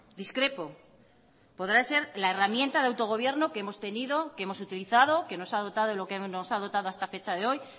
discrepo podrá ser la herramienta de autogobierno que hemos tenido que hemos utilizado que nos ha dotado de lo que nos ha dotado hasta fecha de hoy